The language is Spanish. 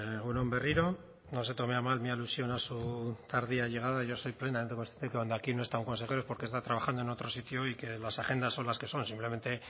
egun on berriro no se tome a mal mi alusión a su tardía llegada yo soy plenamente consciente que cuando aquí no está un consejero es porque está trabajando en otro sitio y que las agendas son las que son simplemente